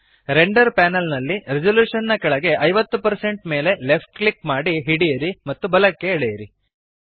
render panel ನಲ್ಲಿ resolution ನ ಕೆಳಗೆ 50 ಮೇಲೆ ಲೆಫ್ಟ್ ಕ್ಲಿಕ್ ಮಾಡಿ ಹಿಡಿಯಿರಿ ಮತ್ತು ಬಲಕ್ಕೆ ಎಳೆಯಿರಿ